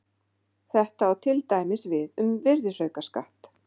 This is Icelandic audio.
þetta á til dæmis við um virðisaukaskatt